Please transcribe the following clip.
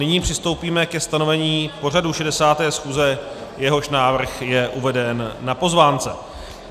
Nyní přistoupíme ke stanovení pořadu 60. schůze, jehož návrh je uveden na pozvánce.